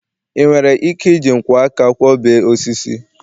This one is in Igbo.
ị nwere ike iji nkwọ aka kwo bee osisi?